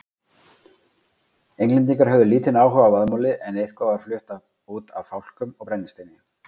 Englendingar höfðu lítinn áhuga á vaðmáli en eitthvað var flutt út af fálkum og brennisteini.